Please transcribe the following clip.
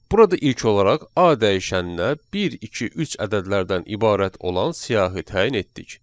Burada ilk olaraq A dəyişəninə 1, 2, 3 ədədlərdən ibarət olan siyahı təyin etdik.